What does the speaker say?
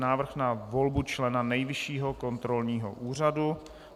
Návrh na volbu člena Nejvyššího kontrolního úřadu